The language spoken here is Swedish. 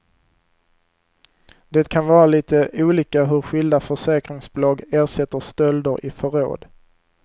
Det kan vara lite olika hur skilda försäkringsbolag ersätter stölder i förråd.